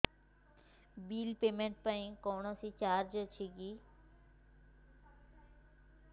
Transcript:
bill payment ପାଇଁ କୌଣସି charge ଅଛି କି